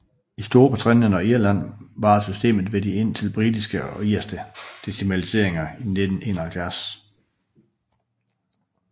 I Storbritannien og Irland varede systemet ved indtil de britiske og irske decimaliseringer i 1971